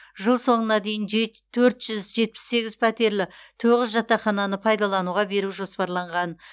жыл соңына дейін жет төрт жүз жетпіс сегіз пәтерлі тоғыз жатақхананы пайдалануға беру жоспарланған